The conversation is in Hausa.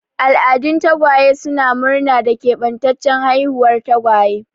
Al'adun tagwaye suna murna da keɓantaccen haihuwar tagwaye.